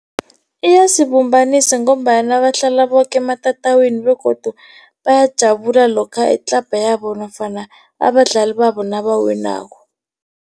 Iyasibumbanisa ngombana bahlala boke ematatawini begodu bayajabula lokha itlabha yabo nofana abadlali babo nabawinako.